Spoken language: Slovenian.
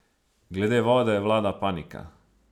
Glede vode vlada panika.